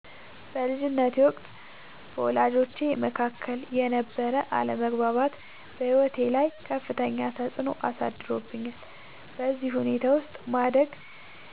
በልጅነቴ ወቅት በወላጆቼ መካከል የነበረ አለመግባባት በሕይወቴ ላይ ከፍተኛ ተፅዕኖ አሳድሮብኛል። በዚህ ሁኔታ ውስጥ ማደግ